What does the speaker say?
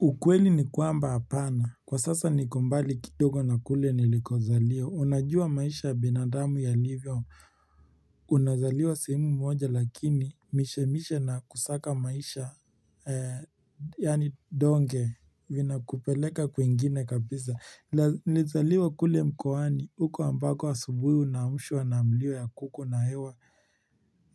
Ukweli ni kwamba apana. Kwa sasa niko mbali kidogo na kule nilikozaliwa. Unajua maisha ya binadamu yalivyo. Unazaliwa simu moja lakini mishemishe na kusaka maisha yani donge vinakupeleka kwingine kabisa. Nilizaliwa kule mkoani. Uko ambako asubuhi unaamshwa na mlio ya kuku na hewa.